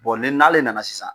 ni n'ale nana sisan